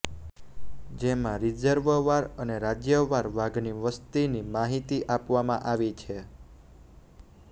જેમાં રિઝર્વવાર અને રાજ્યવાર વાઘની વસતિની માહિતી આપવામાં આવી છે